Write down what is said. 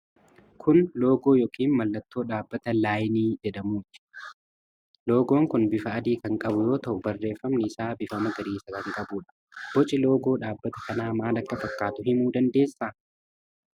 Kun loogoo yookiin mallattoo dhaabbata 'Laayinee' jedhamuuti. Loogoon kun bifa adii kan qabu yoo ta'u, barreefamni isaa bifa magariisa kan qabuudha. Boci loogoo dhaabbata kanaa maal akka fakkaatu himuu dandeessaa?